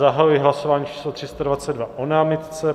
Zahajuji hlasování číslo 322 o námitce.